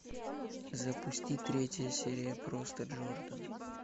запусти третья серия просто джордан